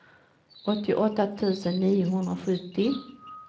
åttioåtta tusen niohundrasjuttio